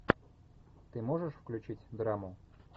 ты можешь включить драму